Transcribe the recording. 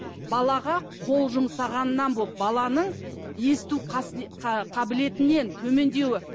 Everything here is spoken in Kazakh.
балаға қол жұмсағаннан бұл баланың есту ы қабілетінен төмендеуі